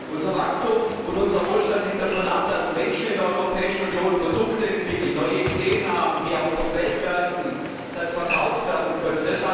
Unser Wachstum und unser Wohlstand hängen davon ab, dass Menschen in der Europäischen Union Produkte entwickeln und neue Ideen haben, die auch auf den Weltmärkten verkauft werden können.